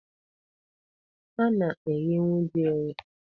A na-eghenwu ji eghe.